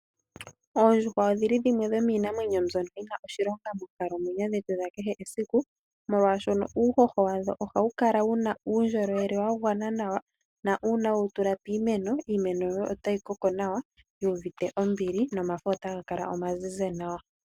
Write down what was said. Oondjuhwa odhi li dhimwe dhomiinamwenyo mbyono yi na oshilonga moonkalamwenyo dhetu dhakehe esiku, molwaashono uuhoho wadho ohawu kala wu na uundjolowele wa gwana nawa nuuna we wu tula piimeno, iimeno yoye otayi koko nawa yuuvite ombili, nomafo otaga kala omazize nawa.